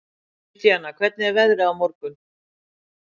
Indiana, hvernig er veðrið á morgun?